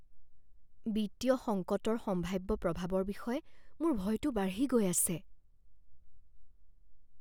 বিত্তীয় সংকটৰ সম্ভাৱ্য প্ৰভাৱৰ বিষয়ে মোৰ ভয়টো বাঢ়ি গৈ আছে।